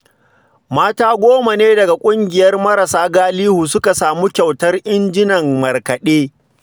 Mata goma ne daga ƙungiyar marasa galihu suka samu kyautar injinan markaɗe